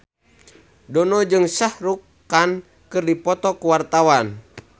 Dono jeung Shah Rukh Khan keur dipoto ku wartawan